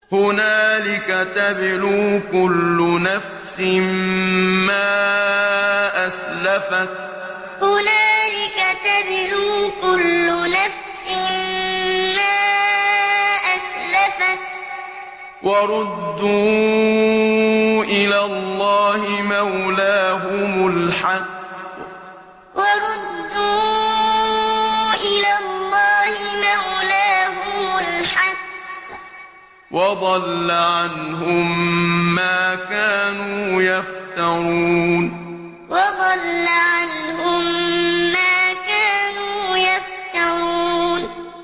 هُنَالِكَ تَبْلُو كُلُّ نَفْسٍ مَّا أَسْلَفَتْ ۚ وَرُدُّوا إِلَى اللَّهِ مَوْلَاهُمُ الْحَقِّ ۖ وَضَلَّ عَنْهُم مَّا كَانُوا يَفْتَرُونَ هُنَالِكَ تَبْلُو كُلُّ نَفْسٍ مَّا أَسْلَفَتْ ۚ وَرُدُّوا إِلَى اللَّهِ مَوْلَاهُمُ الْحَقِّ ۖ وَضَلَّ عَنْهُم مَّا كَانُوا يَفْتَرُونَ